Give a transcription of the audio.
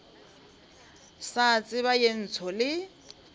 sa tseba ye ntsho le